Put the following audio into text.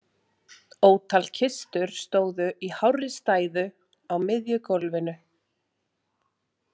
Ótal kistur stóðu í hárri stæðu á miðju gólfinu.